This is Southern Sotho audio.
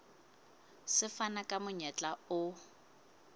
se fana ka monyetla o